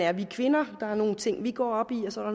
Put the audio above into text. er vi kvinder der er nogle ting vi går op i og så er